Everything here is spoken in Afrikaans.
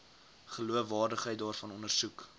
geloofwaardigheid daarvan ondersoek